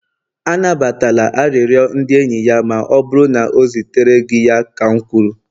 anabatala arịrịọ ndị enyi ya ma ọ bụrụ na o zitere gị ya ka m kwuru!